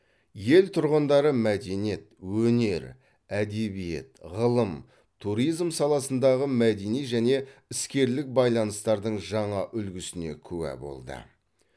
ел тұрғындары мәдениет өнер әдебиет ғылым туризм саласындағы мәдени және іскерлік байланыстардың жаңа үлгісіне куә болды